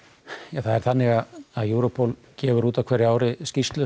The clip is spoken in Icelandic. það er þannig að Europol gefur út á hverju ári skýrslu